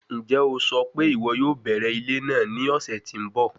Njẹ o sọ pe iwọ yoo bẹrẹ ile naa ni ọsẹ ti n bọ?